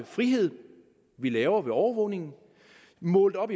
frihed vi laver ved overvågningen målt op